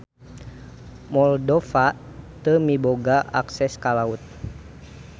Moldova teu miboga akses ka laut.